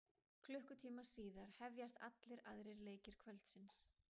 Klukkutíma síðar hefjast allir aðrir leikir kvöldsins.